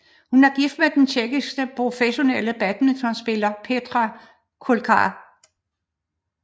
Hun er gift med den tjekkiske professionelle badmintonspiller Petr Koukal